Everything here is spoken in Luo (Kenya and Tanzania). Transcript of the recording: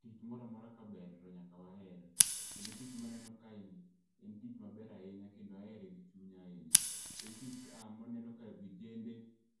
Tich moramora ka ber to nyaka waher. Kendo tich maneno kae ni en tich maber ahinya kendo ahere gi chunya ahinya. En tich ka maneno ka vijende